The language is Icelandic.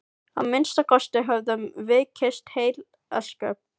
Að minnsta kosti höfðum við kysst heil ósköp.